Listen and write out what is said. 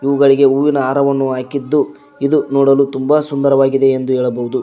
ಇವುಗಳಿಗೆ ಹೂವಿನ ಹಾರವನ್ನು ಹಾಕಿದ್ದು ಇದು ನೋಡಲು ತುಂಬ ಸುಂದರವಾಗಿದೆ ಎಂದು ಹೇಳಬಹುದು.